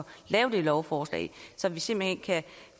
lave det lovforslag så vi simpelt hen kan